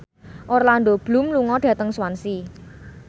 Orlando Bloom lunga dhateng Swansea